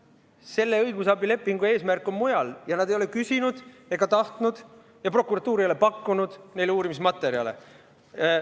Selle õigusabilepingu eesmärk on mujal ja nad ei ole küsinud ega tahtnud uurimismaterjale ja prokuratuur ei ole neile neid pakkunud.